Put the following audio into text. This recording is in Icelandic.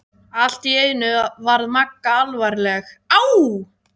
Allt í einu varð Magga alvarleg: Á